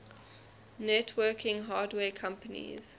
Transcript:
networking hardware companies